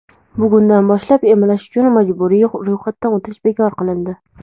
bugundan boshlab emlash uchun majburiy ro‘yxatdan o‘tish bekor qilindi.